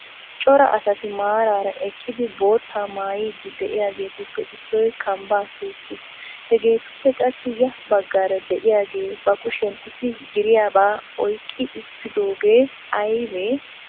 Cora asati maaraera eqqidi bootta maayidi de'iyaageetuppe issoy kambba tookkis. hegetuppe qassi ya baggaara de'iyaage ba kushiyan issi giiriyaaba oyqqi uttudooge aybbe?